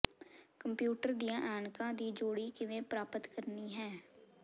computer ਦੀਆਂ ਐਨਕਾਂ ਦੀ ਜੋੜੀ ਕਿਵੇਂ ਪ੍ਰਾਪਤ ਕਰਨੀ ਹੈ